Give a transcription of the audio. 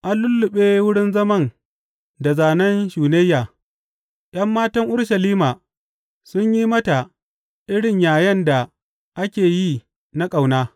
An lulluɓe wurin zaman da zanen shunayya, ’yan matan Urushalima sun yi mata irin yayen da ake yi na ƙauna.